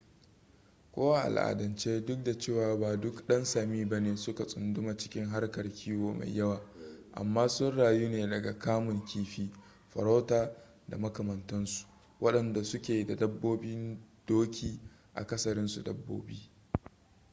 ko a al'adance duk da cewa ba duk dan sami bane suka tsunduma cikin harkar kiwo mai yawa amma sun rayu ne daga kamun kifi farauta da makamantansu wadanda suke da dabbobin doki akasarinsu dabbobi